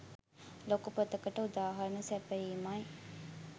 ලොකු පොතකට උදාහරණ සැපයීමයි.